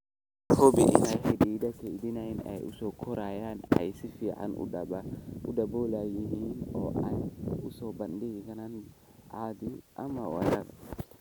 Hubi in xididada kaydinta ee soo koraya ay si fiican u daboolan yihiin oo aanay u soo bandhigin cadceed ama weerar